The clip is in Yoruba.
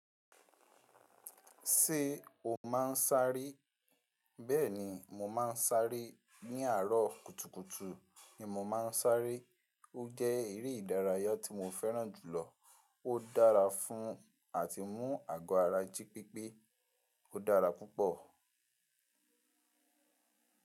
Ṣé o máa ń sáré? Bẹ́ẹ̀ni, mo máa ń sáré. Ni àárọ̀ kùtùkùtù ni mo máa ń sáré. Ó jẹ́ eré ìdárayá tí mo fẹ́ràn jùlọ. Ó dára fún àti mú àgọ́ ara jí pípé. Ó dára púpọ̀.